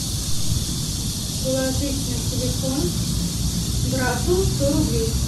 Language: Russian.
положить на телефон брату сто рублей